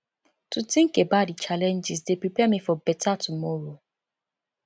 to think about di challenges dey prepare me for beta tomoro